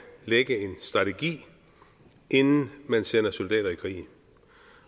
lægge en strategi inden man sender soldater i krig